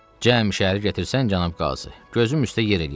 Cəmi şəhər gətirsən cənab Qazı, gözüm üstə yer eləyərəm.